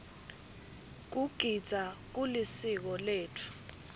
kugidza kulisiko letfu